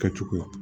Kɛcogoya